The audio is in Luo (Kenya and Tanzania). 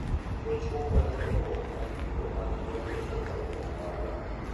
Ochiwo kony ne dongruok mar yuto mag gwenge kokalo kuom ohala.